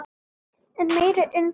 Enn meiri undrun